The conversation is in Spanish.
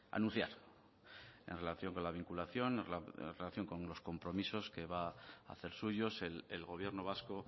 anunciar en relación con la vinculación en relación con unos compromisos que va a hacer suyos el gobierno vasco